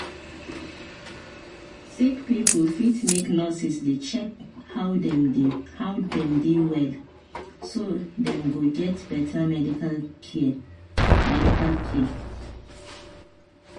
sick pipo fit make nurses dey check how dem dey well so dem go get better medical care medical care